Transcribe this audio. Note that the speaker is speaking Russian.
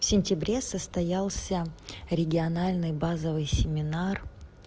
в сентябре состоялся региональный базовый семинар